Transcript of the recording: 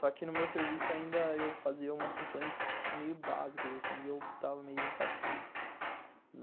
Só que no meu serviço ainda eu fazia umas funções meio básicas, assim, e eu estava meio insatisfeito.